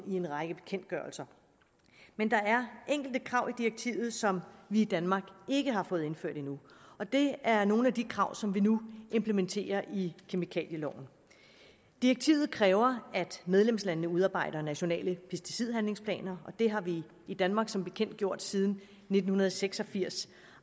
i en række bekendtgørelser men der er enkelte krav i direktivet som vi i danmark ikke har fået indført endnu det er nogle af de krav som vi nu implementerer i kemikalieloven direktivet kræver at medlemslandene udarbejder nationale pesticidhandlingsplaner og det har vi i danmark som bekendt gjort siden nitten seks og firs